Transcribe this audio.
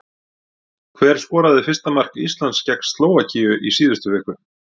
Hver skoraði fyrsta mark Íslands gegn Slóvakíu í síðustu viku?